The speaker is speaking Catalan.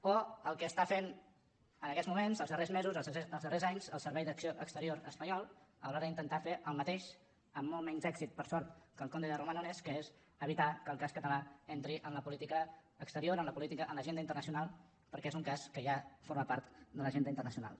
o el que està fent en aquests moments els darrers mesos els darrers anys el servei d’acció exterior espanyol a l’hora d’intentar fer el mateix amb molt menys èxit per sort que el comte de romanones que és evitar que el cas català entri en la política exterior en l’agenda internacional perquè és un cas que ja forma part de l’agenda internacional